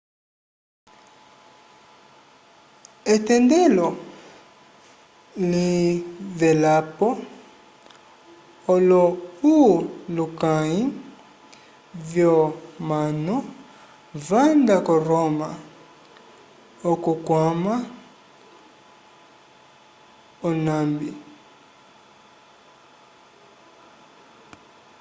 etendelo livelapo olohulukãyi vyomanu vanda ko roma okukwama onambi